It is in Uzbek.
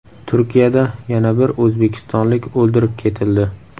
Turkiyada yana bir o‘zbekistonlik o‘ldirib ketildi.